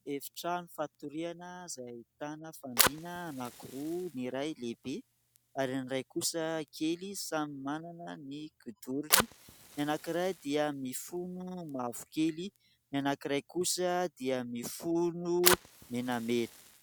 Efitrano fatoriana izay ahitana fandriana anankiroa, ny iray lehibe ary ny iray kosa kely. Samy manana ny kidorony. Ny anankiray dia mifono mavokely, ny anankiray kosa dia mifono menamena.